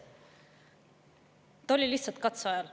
Ta oli lihtsalt katseajal.